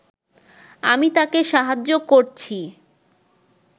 আমি তাঁকে সাহায্য করছি